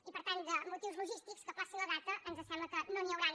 i per tant de motius logístics que ajornin la data ens sembla que no n’hi hauran